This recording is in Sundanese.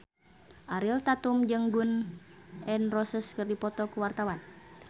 Ariel Tatum jeung Gun N Roses keur dipoto ku wartawan